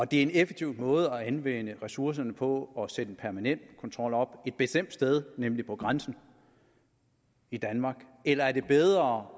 det en effektiv måde at anvende ressourcerne på at sætte en permanent kontrol op et bestemt sted nemlig på grænsen i danmark eller er det bedre